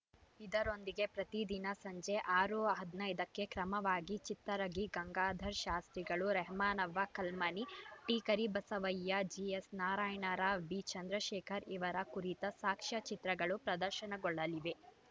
ಇದರೊಂದಿಗೆ ಪ್ರತಿದಿನ ಸಂಜೆ ಆರು ಹದಿನೈದಕ್ಕೆ ಕ್ರಮವಾಗಿ ಚಿತ್ತರಿಗಿ ಗಂಗಾಧರ ಶಾಸ್ತ್ರಿಗಳು ರೆಹಮಾನವ್ವ ಕಲ್ಮನಿ ಟಿಕರಿಬಸವಯ್ಯ ಜಿಎಸ್‌ನಾರಾಯಣರಾವ್‌ ಬಿಚಂದ್ರಶೇಖರ್‌ ಇವರ ಕುರಿತ ಸಾಕ್ಷ್ಯ ಚಿತ್ರಗಳು ಪ್ರದರ್ಶನಗೊಳ್ಳಲಿವೆ